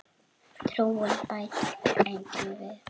Trúin bæti hér engu við.